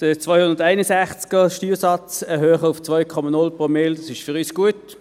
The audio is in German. Artikel 261, den Steuersatz erhöhen auf 2,0 Promille, ist für uns gut.